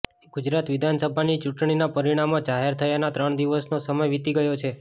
ગુજરાત વિધાનસભાની ચૂંટણીના પરીણામો જાહેર થયાના ત્રણ દિવસનો સમય વિતી ગયો છે